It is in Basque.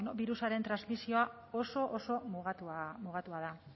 ba bueno birusaren transmisioa oso oso mugatua da